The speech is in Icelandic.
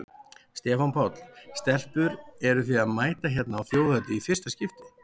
Stefán Páll: Stelpur eruð þið að mæta hérna á Þjóðhátíð í fyrsta skipti?